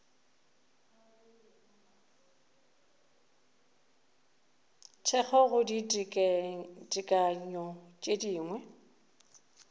thekgo go ditekanyo tše dingwe